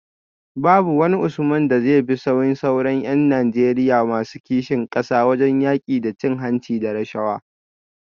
Babu wani Usman da zai bi sahun sauran ’yan Najeriya masu kishin kasa wajen yaki da cin hanci da rashawa